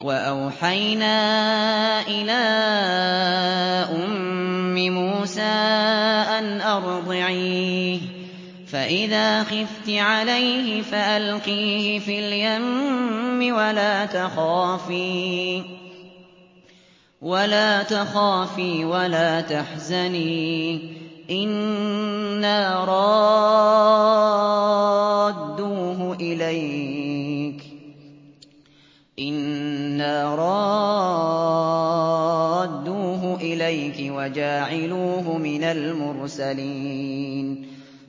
وَأَوْحَيْنَا إِلَىٰ أُمِّ مُوسَىٰ أَنْ أَرْضِعِيهِ ۖ فَإِذَا خِفْتِ عَلَيْهِ فَأَلْقِيهِ فِي الْيَمِّ وَلَا تَخَافِي وَلَا تَحْزَنِي ۖ إِنَّا رَادُّوهُ إِلَيْكِ وَجَاعِلُوهُ مِنَ الْمُرْسَلِينَ